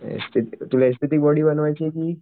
S T तुला S T T body बनवायची कि